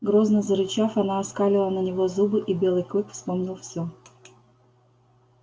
грозно зарычав она оскалила на него зубы и белый клык вспомнил всё